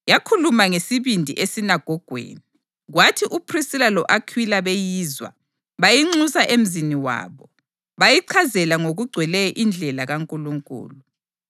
Yakhuluma ngesibindi esinagogweni. Kwathi uPhrisila lo-Akhwila beyizwa, bayinxusa emzini wabo, bayichazela ngokugcweleyo indlela kaNkulunkulu.